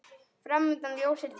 Fram undan ljósir tímar.